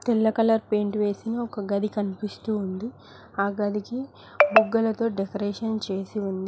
తెల్ల colour paint వేసిన ఒక గది కనిపిస్తూ ఉంది ఆ గది కి బుగ్గలతో డెకరేషన్ చేసి ఉంది.